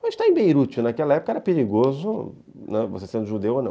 Mas estar em Beirute naquela época era perigoso, você sendo judeu ou não.